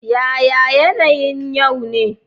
Yaya yanayin yau ne?